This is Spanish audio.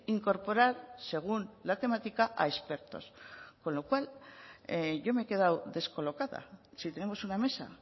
incorporar según la temática a expertos con lo cual yo me he quedado descolocada si tenemos una mesa